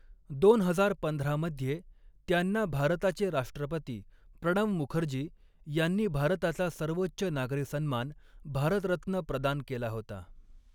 दोन हजार पंधरा मध्ये, त्यांना भारताचे राष्ट्रपती प्रणव मुखर्जी यांनी भारताचा सर्वोच्च नागरी सन्मान, भारतरत्न प्रदान केला होता.